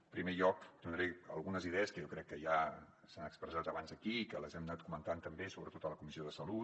en primer lloc donaré algunes idees que jo crec que ja s’han expressat abans aquí i que les hem anat comentant també sobretot a la comissió de salut